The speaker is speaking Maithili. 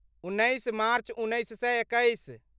उन्नैस मार्च उन्नैस सए एकैस